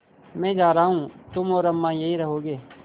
मैं जा रहा हूँ तुम और अम्मा यहीं रहोगे